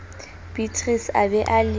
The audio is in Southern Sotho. beatrice a be a le